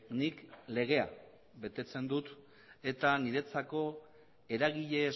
nik legea betetzen dut eta niretzako eragile